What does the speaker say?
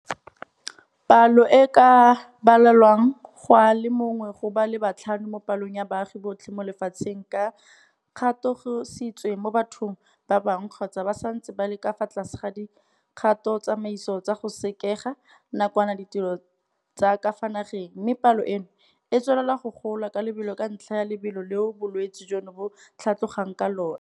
Palo e e ka balelwang go a le mongwe go ba le batlhano mo palong ya baagi botlhe mo lefatsheng ba katogisitswe mo bathong ba bangwe kgotsa ba santse ba le ka fa tlase ga dikgatotsamaiso tsa go sekega nakwana ditiro tsa ka fa nageng, mme palo eno e tswelela go gola ka lebelo ka ntlha ya lebelo leo bolwetse jono bo tlhatlogang ka lona.